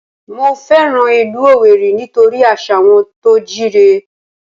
Mo fẹ́ràn ìlú Owerri nítorí àṣà wọn tó jíire